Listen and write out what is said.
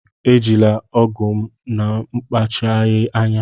Ejila ọgụ m n'akpachapụghị anya!